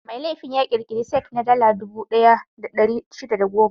Mai laifi ya ƙirƙira cek na Dala dubu ɗaya da ɗari shida da goma.